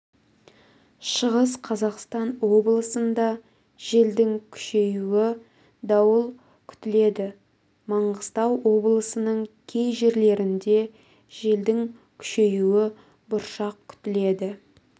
шығыс қазақстан облысында желдің күшеюі дауыл күтіледі маңғыстау облысының кей жерлерінде желдің күшеюі бұршақ күтіледі